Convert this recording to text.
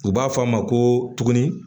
U b'a fɔ a ma ko tuguni